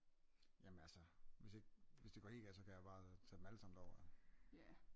Jamen altså hvis hvis det går helt galt så kan jeg jo bare tage dem alle sammen derover jo